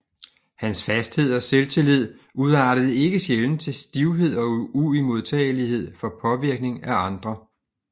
Hans fasthed og selvtillid udartede ikke sjælden til stivhed og uimodtagelighed for påvirkning af andre